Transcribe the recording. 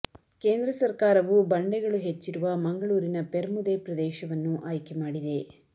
ಕೇಂದ್ರ ಸರ್ಕಾರವು ಬಂಡೆಗಳು ಹೆಚ್ಚಿರುವ ಮಂಗಳೂರಿನ ಪೆರ್ಮುದೆ ಪ್ರದೇಶವನ್ನು ಆಯ್ಕೆ ಮಾಡಿದೆ